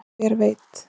en hver veit